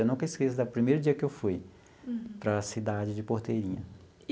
Eu nunca esqueço do primeiro dia que eu fui para a cidade de Porteirinha.